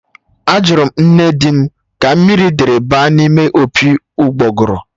Ajụrụ m nne di m ka mmiri dịrị baa n'ime opi ụgbọgụrụ